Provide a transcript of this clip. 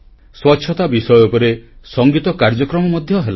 ସ୍ୱଚ୍ଛତା ବିଷୟ ଉପରେ ସଂଗୀତ କାର୍ଯ୍ୟକ୍ରମ ମଧ୍ୟ ହେଲା